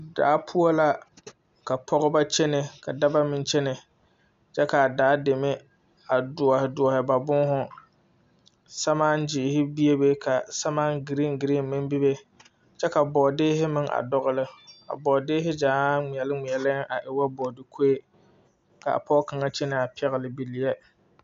Daa poɔ la ka pɔgeba kyɛnɛ ka dɔba meŋ kyɛnɛ kaa daa deme a duoriduori ba bohu sɛmaa gyire bebe ka sɛmaa giringirin meŋ bebe kyɛ ka bɔɔderri meŋ dɔŋli a bɔɔdeeri gyaaŋ ŋmeɛliŋmeɛliŋ a e woo bɔɔde kori kaa pɔge kaŋa kyɛnɛ a pɛgli bilɛɛ.